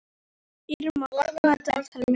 Irma, opnaðu dagatalið mitt.